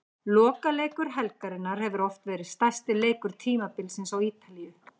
Lokaleikur helgarinnar hefur oft verið stærsti leikur tímabilsins á Ítalíu.